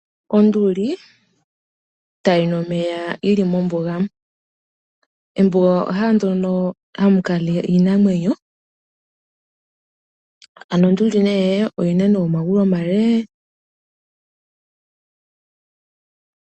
Onduli tayi nu omeya yili mombuga. Ombuga ehala ndono hamu kala iinamwenyo. Ano onduli nee oyina omagulu omale.